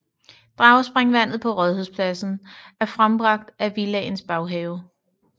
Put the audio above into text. Dragespringvandet på Rådhuspladsen er frembragt i Villaens baghave